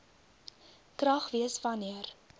krag wees wanneer